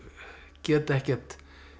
get ekkert